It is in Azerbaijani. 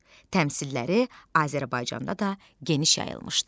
Təmsilləri Azərbaycanda da geniş yayılmışdı.